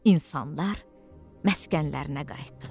İnsanlar məskənlərinə qayıtdılar.